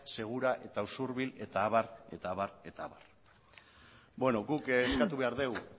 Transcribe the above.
segura eta usurbil eta abar eta abar eta abar bueno guk eskatu behar dugu